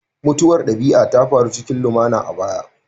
Mutuwar dabi'a ta faru cikin lumana a baya